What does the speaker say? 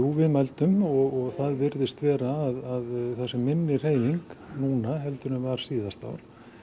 við mældum og það virðist vera að það sé minni hreyfing en var síðasta ár